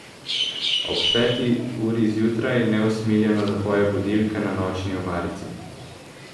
Ob peti uri zjutraj neusmiljeno zapoje budilka na nočni omarici.